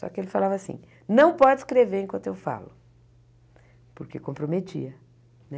Só que ele falava assim, não pode escrever enquanto eu falo, porque comprometia, né?